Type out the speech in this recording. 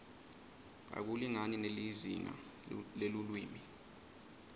akulingani nelizingaa lelulwimi